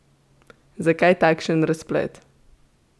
Zakaj takšen razplet?